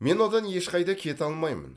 мен одан ешқайда кете алмаймын